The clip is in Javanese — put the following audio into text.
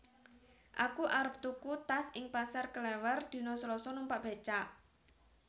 Aku arep tuku tas ing Pasar Klewer dino Selasa numpak becak